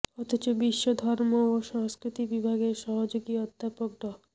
অথচ বিশ্ব ধর্ম ও সংস্কৃতি বিভাগের সহযোগী অধ্যাপক ড